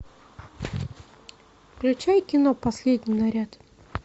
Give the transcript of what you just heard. включай кино последний наряд